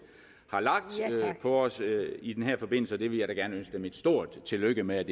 har lagt på os i den her forbindelse og jeg vil da gerne ønske dem et stort tillykke med at